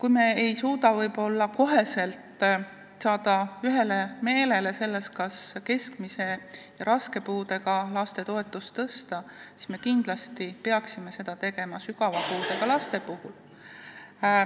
kui me ei suuda ka kohe jõuda ühele meelele selles, kas keskmise ja raske puudega laste toetust tõsta, siis sügava puudega laste toetust me peaksime kindlasti tõstma.